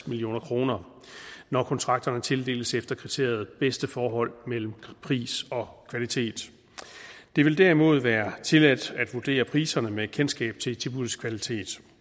million kr når kontrakterne tildeles efter kriteriet bedste forhold mellem pris og kvalitet det vil derimod være tilladt at vurdere priserne med kendskab til tilbuddets kvalitet